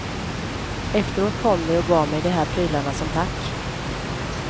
Efteråt kom de och gav mig de här prylarna som tack.